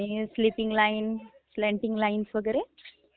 sleeping lines, slanting lines वगैरे..